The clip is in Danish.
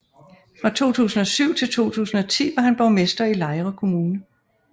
Fra 2007 til 2010 var han borgmester i Lejre Kommune